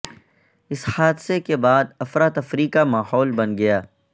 اس حادثے کے بعد افراتفری کا ماحول بن گیا